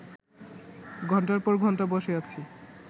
ঘণ্টার পর ঘণ্টা বসে আছি